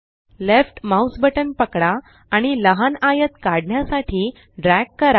left mouse button पकडा आणि लहान आयत काढण्यासाठी ड्रॅग करा